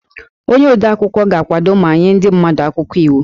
Onye odeakwụkwọ ga-akwado ma nye ndị mmadụ akwụkwọ iwu